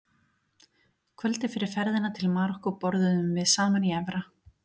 Kvöldið fyrir ferðina til Marokkó borðuðum við saman í efra